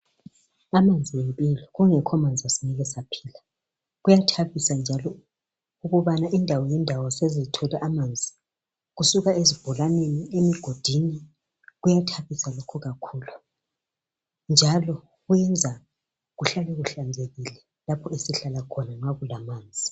amanzi yimpilo kungekho amanzi ngeke saphila kuyathabisa njalo ukubana indawo ngendawo sezithole amanzi kusuka ezibholaneni emigodini kuyathabisa lokhu kakhulu njalo kwenza kuhla kuhlanzekile lapho esihlala khona nxa kulamanzi